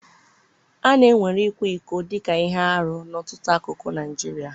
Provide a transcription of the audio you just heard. A na-ewere ịkwa iko dị ka ihe arụ n'ọtụtụ akụkụ Naijiria.